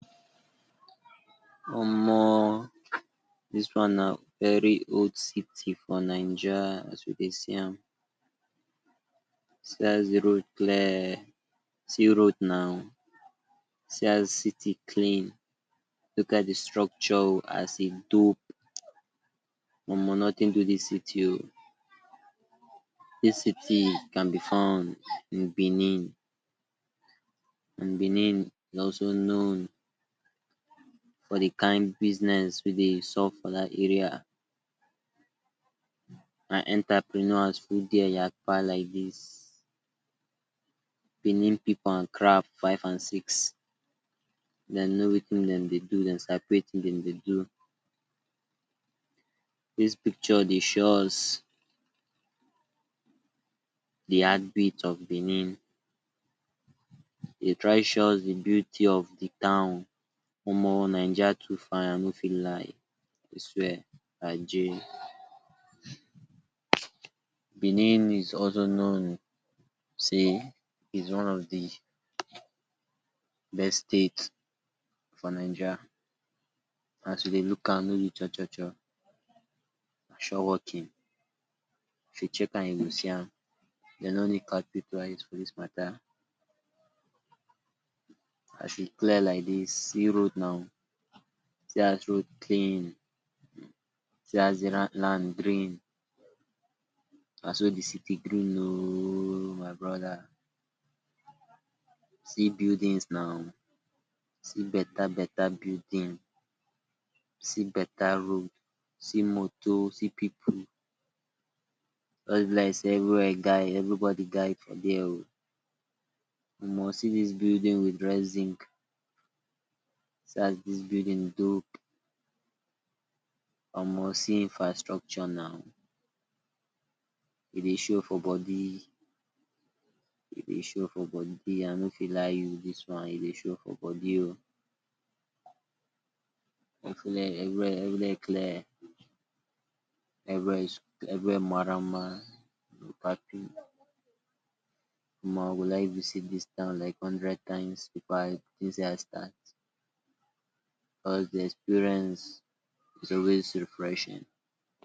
Omo dis one na very old city for naija as we dey see am, see as de road clear see road naw, see as city clean, look as de structure as e dope, Omo nothing do dis city oh, dis city can b fun in Benin, and Benin is also known for de kind business wey dey sup for dat area, and entrepreneurs full there yapa like dis, Benin pipu and craft five and six, dem know Wetin dem dey do, dem sabi Wetin dem dey do, dis picture dey show us de heartbeat of Benin, e dey try show us de beauty of de town, Omo naija too fine I no fit lie, I swear ajeh. Benin is also known sey it’s one of de best state for naija, as we dey look am no b chochocho na sure working, if u check am you go see am, dem no need catch pipu eyes for dis matter, as e clear like dis see road naw, see as road clean, see as de land green, na so de city green ohhh my brother, see buildings naw, see better better building, see better road, see moto see pipu, jus b like sey everywhere guide everybody guide for ther oh, Omo see dis building with red zinc, see as dis building dope, Omo see infastructure naw, e dey show for body, e dey show for body i no fit lie you dis one e dey show for body oh, everywhere clear, everywhere marama Omo I go like visit dis town like hundred times before I, because de experience is always refreshing.